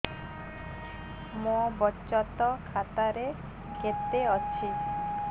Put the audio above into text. ମୋ ବଚତ ଖାତା ରେ କେତେ ଅଛି